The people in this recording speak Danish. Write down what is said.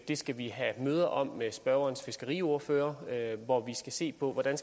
det skal vi have møde om med spørgerens fiskeriordfører hvor vi skal se på hvordan